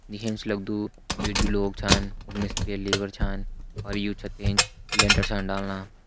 दिखेण से लग्दु इ जु लोग छान उ मिस्त्री और लेबर छान यू छत के एंच लेंटर छन डालना।